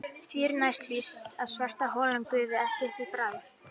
Því er næsta víst að svartholin gufa ekki upp í bráð.